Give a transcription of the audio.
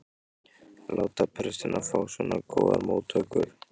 láta prestinn fá svona góðar móttökur.